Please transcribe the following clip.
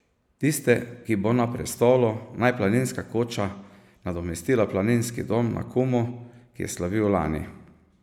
Tiste, ki bo na prestolu Naj planinska koča nadomestila Planinski dom na Kumu, ki je slavil lani.